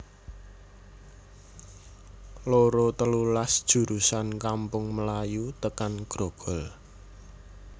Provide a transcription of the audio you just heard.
loro telulas jurusan Kampung Melayu tekan Grogol